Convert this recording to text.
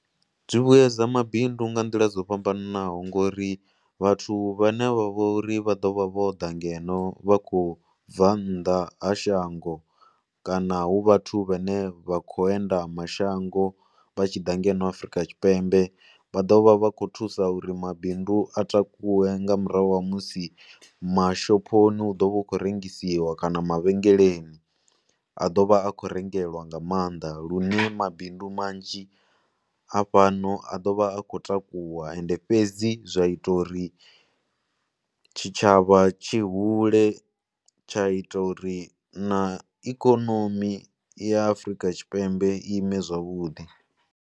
Zwi vhuyedza mabindu nga nḓila dzo fhambanaho ngori vhathu vhane vha vha uri vha ḓo vha vho ḓa ngeno vha khou bva nnḓa ha shango kana hu vhathu vhane vha khou enda mashango vha tshi ḓa ngeno Afrika Tshipembe. Vha ḓo vha vha khou thusa uri mabindu a takuwe nga murahu ha musi mashophoni hu ḓo vha hu khou rengisiwa kana mavhengeleni a ḓo vha a khou rengelwa nga maanḓa lune mabindu manzhi a fhano a ḓo vha a khou takuwa. Ende fhedzi zwa ita uri tshitshavha tshi hule tsha ita uri na ikonomi ya Afrika Tshipembe i ime zwavhuḓi.